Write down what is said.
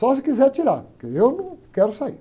Só se quiser tirar, porque eu não quero sair.